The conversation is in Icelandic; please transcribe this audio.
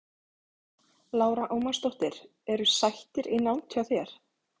Lára Ómarsdóttir: Eru sættir í nánd hjá þér?